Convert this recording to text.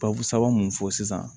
Babu sabanan mun fɔ sisan